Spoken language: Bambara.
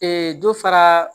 dɔ fara